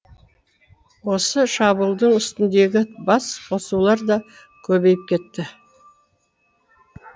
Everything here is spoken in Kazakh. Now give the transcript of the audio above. осы шабуылдың үстіндегі бас қосулар да көбейіп кетті